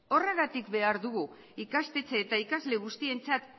horregatik behar dugu ikastetxe eta ikasle guztientzat